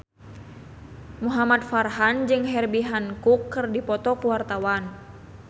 Muhamad Farhan jeung Herbie Hancock keur dipoto ku wartawan